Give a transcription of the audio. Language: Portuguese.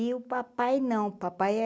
E o papai não, o papai é